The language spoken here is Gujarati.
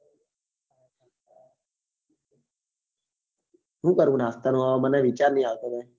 શું કરવું નાસ્તા નું મને વિચાર નહિ આવતો